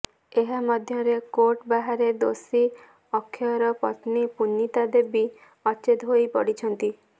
ଏହା ମଧ୍ୟରେ କୋର୍ଟ ବାହାରେ ଦୋଷୀ ଅକ୍ଷୟର ପତ୍ନୀ ପୁନିତା ଦେବୀ ଅଚେତ୍ ହୋଇ ପଡିଛନ୍ତି